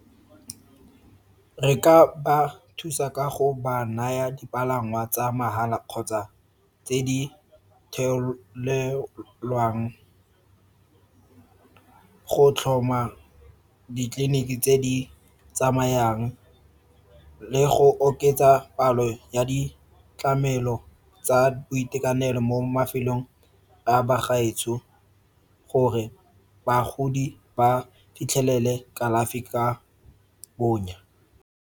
Re ka ba thusa ka go ba naya dipalangwa tsa mahala kgotsa tse di theilelwang , go tlhoma ditleliniki tse di tsamayang le go oketsa palo ya ditlamelo tsa boitekanelo mo mafelong a bagaetsho gore bagodi ba fitlhelele kalafi ka bonya.